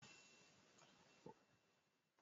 Ó yẹ kí Olùkọ́ àgbà obìnrin kó fi ìlànà ẹ̀kọ́ tó yèkoro kalẹ̀